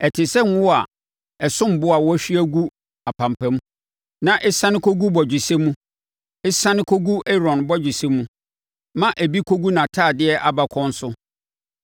Ɛte sɛ ngo a ɛsom bo a wɔahwie agu apampam, na ɛsiane kɔgu bɔgyesɛ mu, ɛsiane kɔgu Aaron bɔgyesɛ mu, ma ebi kɔgu nʼatadeɛ abakɔn so.